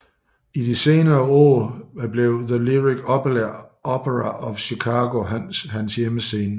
I de senere år blev The Lyric Opera of Chicago hans hjemmescene